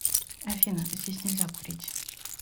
афина здесь нельзя курить